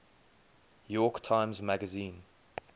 york times magazine